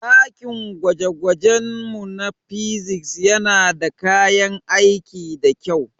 dakin gwaje-gwajenmu na Physics yana da kayan aiki da kyau.